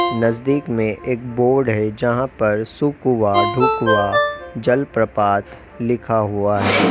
नजदीक में एक बोर्ड है जहां पर सुकुवा ढुकूवा जलप्रपात लिखा हुआ है।